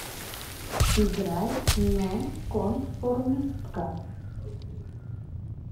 играй нонконформистка